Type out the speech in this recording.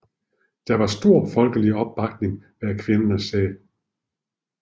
Der var stor folkelig opbakning bag kvindernes sag